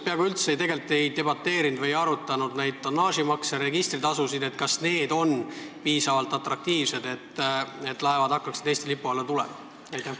Me komisjonis peaaegu üldse ei arutanud, kas tonnaaži- ja registritasud on piisavalt atraktiivsed, et laevad hakkaksid Eesti lipu alla tulema?